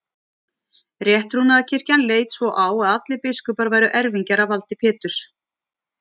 Rétttrúnaðarkirkjan leit svo á að allir biskupar væru erfingjar að valdi Péturs.